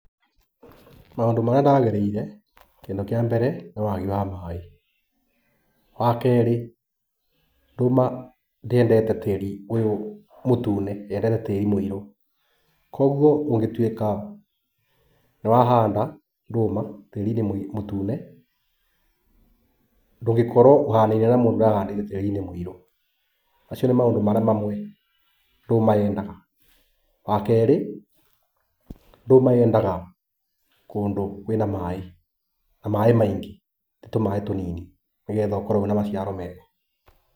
Maũndũ marĩa ndagereire, kĩndũ kĩa mbere nĩ wagi wa maĩ. Wakerĩ, ndũma ndĩendete tĩri ũyũ mũtune yendete tĩri mũirũ, kuoguo ũngĩtuĩka nĩwahanda ndũma tĩti-inĩ mũtune, ndũngĩkorwo ũhanaine na mũndũ ũrahandĩte tĩri-inĩ mũirũ. Macio nĩ maũndũ marĩa mamwe ndũma yendaga. Wakerĩ ndũma yendaga kũndũ kwĩna maĩ, na maingĩ, ti tũmaĩ tunini nĩgetha ũkorwo wĩna maciaro mega.